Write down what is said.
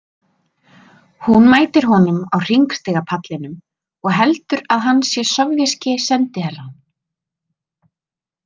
Hún mætir honum á hringstigapallinum og heldur að hann sé sovéski sendiherrann.